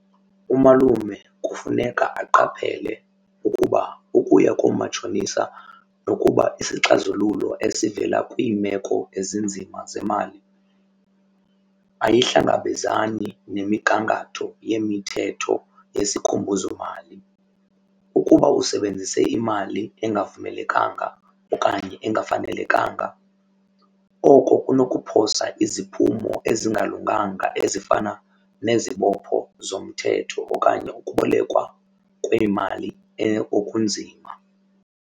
Umalume kufuneka aqaphele ukuba ukuya koomatshonisa nokuba isixazululo esivela kwiimeko ezinzima zemali ayihlangabezani nemigangatho yemithetho yesikhumbuzomali. Ukuba usebenzise imali engavumelekanga okanye engafanelekanga oko kunokuphosa iziphumo ezingalunganga ezifana nezibopho zomthetho okanye ukubolekwa kweemali okunzima.